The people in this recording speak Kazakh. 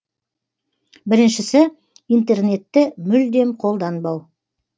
біріншісі интернетті мүлдем қолданбау